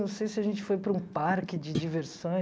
Não sei se a gente foi para um parque de diversões.